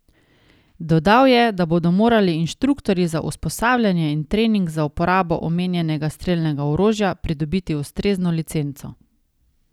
Dodal je, da bodo morali inštruktorji za usposabljanje in trening za uporabo omenjenega strelnega orožja pridobiti ustrezno licenco.